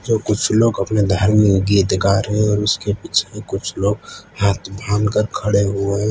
तो कुछ लोग अपने धार्मिक गीत गा रहे हैं और उसके पीछे कुछ लोग हाथ बांध कर खड़े हुए --